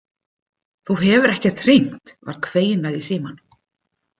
Þú hefur ekkert hringt, var kveinað í símann.